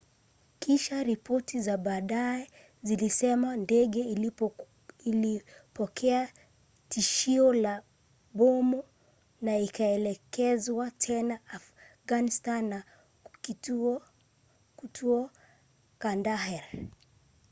kisha ripoti za baadaye zilisema ndege ilipokea tishio la bomu na ikaelekezwa tena afganistani na kutua kandahar